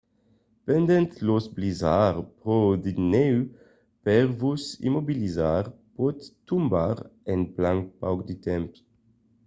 pendent los blizzards pro de nèu per vos immobilizar pòt tombar en plan pauc de temps